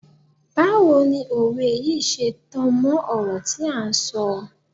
Báwo ni òwe yìí ṣe tan mọ́ ọ̀rọ̀ tí à ń sọ.